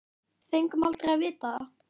Fengum aldrei að vita það.